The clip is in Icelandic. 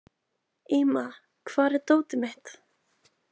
Íma, hvar er dótið mitt?